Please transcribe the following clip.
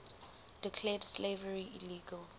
declared slavery illegal